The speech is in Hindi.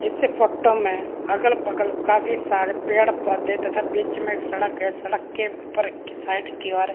इस फोटो में अगल-बगल काफी सारे पेड़ - पौधा तथा बिच में एक सड़क है सड़क के पर साइड किनारे --